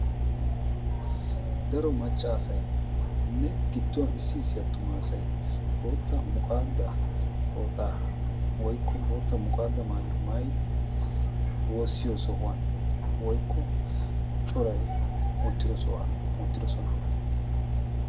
daro maccaasayinne gidduwan issi issi attumaasay bootta muqaadda tooxaa woykko bootta muqaadda maayyo maayidi woossiyo sohuwan woykko coray uttido sohuwan uttidosona